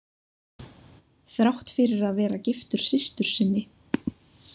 Þrátt fyrir að vera giftur systur sinni.